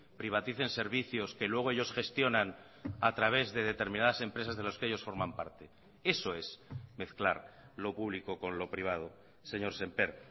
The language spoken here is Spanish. privaticen servicios que luego ellos gestionan a través de determinadas empresas de los que ellos forman parte eso es mezclar lo público con lo privado señor semper